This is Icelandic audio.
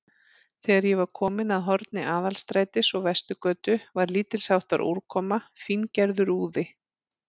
Þegar ég var kominn að horni Aðalstrætis og Vesturgötu, var lítilsháttar úrkoma, fíngerður úði.